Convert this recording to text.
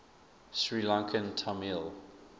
sri lankan tamil